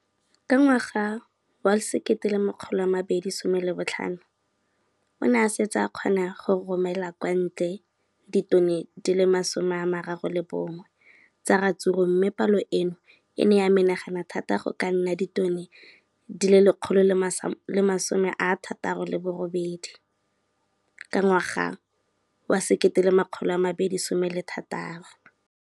Ka ngwaga wa 2015, o ne a setse a kgona go romela kwa ntle ditone di le 31 tsa ratsuru mme palo eno e ne ya menagana thata go ka nna ditone di le 168 ka ngwaga wa 2016.